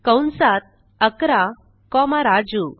कंसात 11 कॉमा राजू